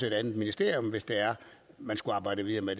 et andet ministerium hvis man skulle arbejde videre med